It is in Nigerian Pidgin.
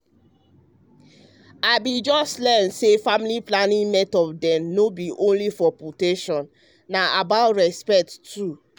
me ehm bin just learn say family planning method dem no be only for protection na about respect too.